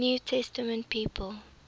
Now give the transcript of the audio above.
new testament people